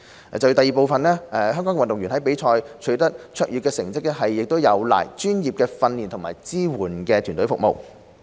二香港運動員在比賽取得卓越成績，有賴專業的訓練和支援團隊服務。